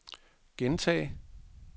gentag